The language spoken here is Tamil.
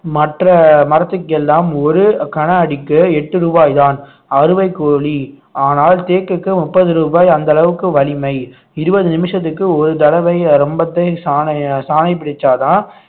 மற்ற மரத்துக்கு எல்லாம் ஒரு கன அடிக்கு எட்டு ரூபாய்தான் அறுவைக்கோழி ஆனால் தேக்குக்கு முப்பது ரூபாய் அந்த அளவுக்கு வலிமை இருபது நிமிஷத்துக்கு ஒரு தடவை ரம்பத்தை சாணை சாணை பிடிச்சாதான்